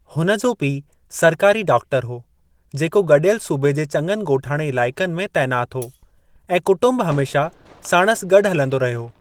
हुन जो पीउ सरकारी डॉक्टरु हो, जेको गॾियल सूबे जे चङनि ॻोठाणे इलाइक़नि में तैनातु हो, ऐं कुटुंबु हमेशा साणुसि गॾु हलंदो रहियो।